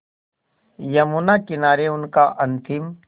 यमुना किनारे उनका अंतिम